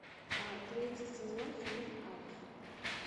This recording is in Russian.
третий сезон фильм альф